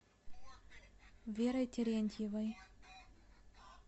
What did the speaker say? верой терентьевой